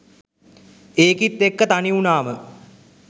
ඒකිත් එක්ක තනි වුණාම